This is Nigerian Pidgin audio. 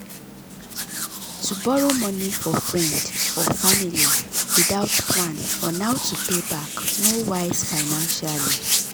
to borrow money for friend or family without plan on how to pay back no wise financially.